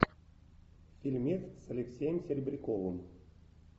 фильмец с алексеем серебряковым